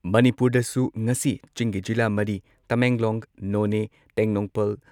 ꯃꯅꯤꯄꯨꯔꯗꯁꯨ ꯉꯁꯤ ꯆꯤꯡꯒꯤ ꯖꯤꯂꯥ ꯃꯔꯤ ꯇꯃꯦꯡꯂꯣꯡ, ꯅꯣꯅꯦ, ꯇꯦꯡꯅꯧꯄꯥꯜ